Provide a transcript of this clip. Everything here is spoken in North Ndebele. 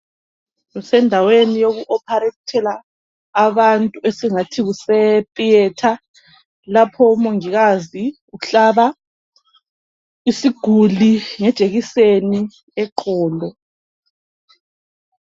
Kusendaweni yokuoparetela abantu esingathi kuse theatre lapho umongikazi uhlaba isiguli ngejekiseni eqolo.